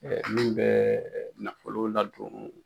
Min bɛ nafolo ladon